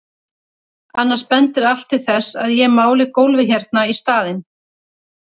Annars bendir allt til þess að ég máli gólfið hérna í staðinn.